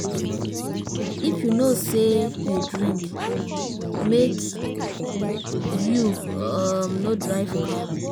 If you know sey you drink, make you um no drive car.